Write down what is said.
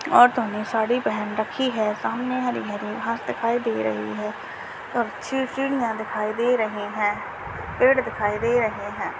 औरतों ने साड़ी पहन रखी है सामने हरे भरे घास दिखाई दे रही है और छ चिड़िया दिखाई दे रही हैं पेड़ दिखाई दे रहे हैं।